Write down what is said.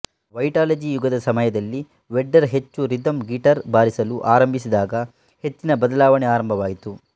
Vitalogy ಯುಗದ ಸಮಯದಲ್ಲಿ Vedder ಹೆಚ್ಚು ರಿದಮ್ ಗಿಟಾರ್ ಬಾರಿಸಲು ಆರಂಭಿಸಿದಾಗ ಹೆಚ್ಚಿನ ಬದಲಾವಣೆ ಆರಂಭವಾಯಿತು